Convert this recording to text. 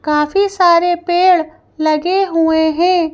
काफी सारे पेड़ लगे हुए हैं।